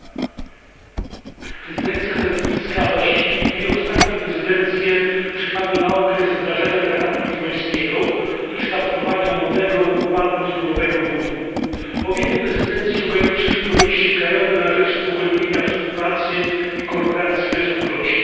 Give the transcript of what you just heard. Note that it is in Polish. Panie Przewodniczący! Prezydencja belgijska, właściwie dwie ostatnie prezydencje, przypadły na okres wdrażania traktatu lizbońskiego i kształtowania nowego ładu ustrojowego w Unii. Obie te prezydencje ograniczyły podejście krajowe na rzecz pogłębienia współpracy i koordynacji we Wspólnocie.